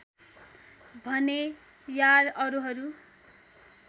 भनेँ यार अरूहरू